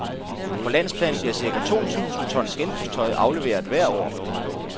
På landsplan bliver cirka to tusind tons genbrugstøj afleveret hvert år.